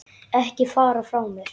Ekki fara frá mér!